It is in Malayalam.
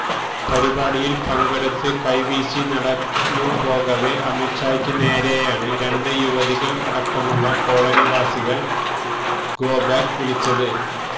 പരിപാടിയിൽ പങ്കെടുത്ത് കൈവീശി നടന്നുപോകവേ അമിത് ഷായ്ക്ക് നേരെയാണ് രണ്ട് യുവതികൾ അടക്കമുള്ള കോളനിവാസികൾ ഗോ ബാക്ക് വിളിച്ചത്